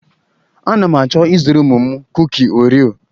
A na m achọ ịzụrụ ụmụ m kuki oreo.